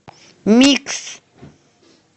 микс